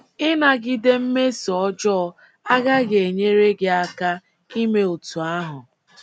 * Ịnagide mmeso ọjọọ agaghị enyere gị aka ime otú ahụ.